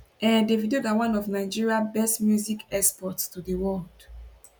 um davido na one of nigeria best music exports to di world